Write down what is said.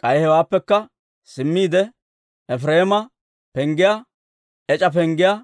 K'ay hewaappekka simmiide, Efireema Penggiyaa, ec'a Penggiyaa,